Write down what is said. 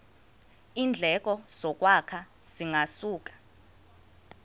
iindleko zokwakha zingasuka